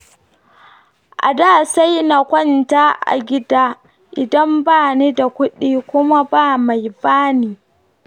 A da, sai na kwanta a gida, idan bani da kuɗi, kuma ba me bani.